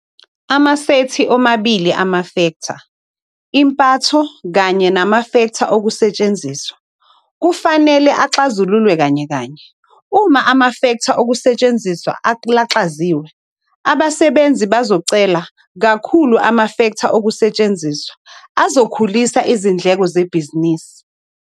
Amasethi omabili amafektha - impatho kanye namafektha okusetshenziswa kufanele kuxazululwe kanyekanye. Uma amafektha okusetshenziswa alaxaziwe, abasebenzi bazocela kakhulu amafektha okusetshenziswa azokhulisa izindleko zebhizinisi.